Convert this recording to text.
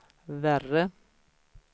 värre